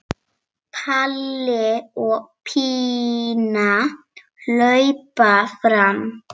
Palli og Pína hlaupa fram.